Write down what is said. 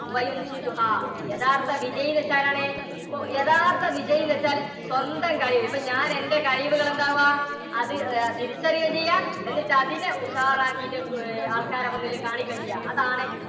യഥാർത്ഥ വിജയി എന്ന് വെച്ചാൽ ആരാണ്? യഥാർത്ഥ വിജയി എന്ന് വെച്ചാൽ സ്വന്തം കഴിവുകൾ ഇപ്പോൾ ഞാൻ എൻറെ കഴിവുകൾ എന്താ ആവുക അത് തിരിച്ചറിയുകയും ചെയ്യുക എന്നിട്ട് അതിനെ ഉഷാർ ആക്കിയിട്ട് ആൾക്കാരുടെ മുന്നിൽ കാണിക്കുകയും ചെയ്യുക അതാണ്